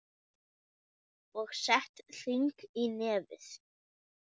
Og sett hring í nefið.